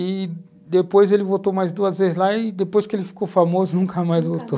E depois ele voltou mais duas vezes lá e, depois que ele ficou famoso, nunca mais voltou.